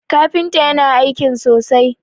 kafinta yana aikin sosai!